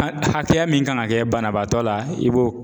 A hakɛya min kan ŋa kɛ banabaatɔ la i b'o